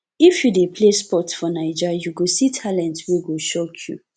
if you dey play sports for naija you go see talent wey go shock you